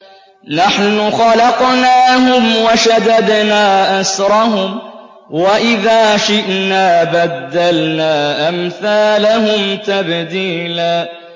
نَّحْنُ خَلَقْنَاهُمْ وَشَدَدْنَا أَسْرَهُمْ ۖ وَإِذَا شِئْنَا بَدَّلْنَا أَمْثَالَهُمْ تَبْدِيلًا